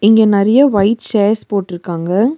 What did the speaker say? இங்க நறியா white chairs போட்ருக்காங்க.